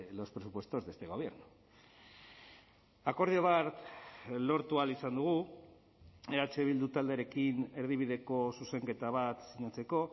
los presupuestos de este gobierno akordio bat lortu ahal izan dugu eh bildu taldearekin erdibideko zuzenketa bat sinatzeko